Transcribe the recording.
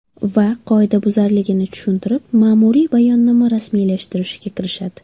Va qoidabuzarligini tushuntirib, ma’muriy bayonnoma rasmiylashtirishga kirishadi.